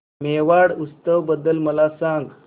मेवाड उत्सव बद्दल मला सांग